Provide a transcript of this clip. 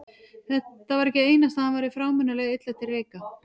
Það var ekki einasta að hann væri frámunalega illa til reika.